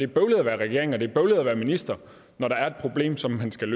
bøvlet at være regering og det er bøvlet at være minister når der er et problem som man skal